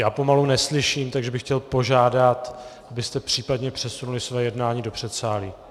Já pomalu neslyším, takže bych chtěl požádat, abyste případně přesunuli své jednání do předsálí.